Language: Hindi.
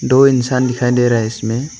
दो इंसान दिखाई दे रहा हैं इसमें।